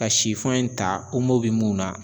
Ka sifɔn in ta omo be mun na